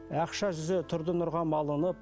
ақша жүзі тұрды нұрға малынып